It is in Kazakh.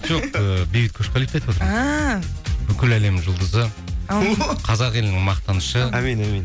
жоқ ііі бейбіт көшқалиевті айтып жатырмын ааа бүкіл әлемнің жұлдызы қазақ елінің мақтанышы әмин әмин